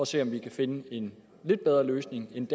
se om vi kan finde en lidt bedre løsning end